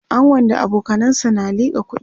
angon da abokanansa na liƙa kuɗi